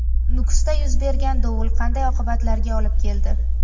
Nukusda yuz bergan dovul qanday oqibatlarga olib keldi?